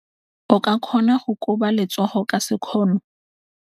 O ka kgona go koba letsogo ka sekgono.